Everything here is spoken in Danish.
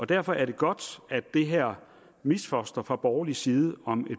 derfor er det godt at det her misfoster fra borgerlig side om et